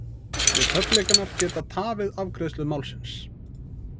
Repúblikanar geta tafið afgreiðslu málsins